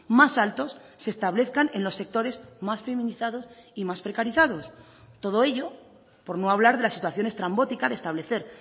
más altos se establezcan en los sectores más feminizados y más precarizados todo ello por no hablar de la situación estrambótica de establecer